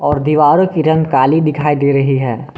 और दीवार की रंग काली दिखाई दे रही है।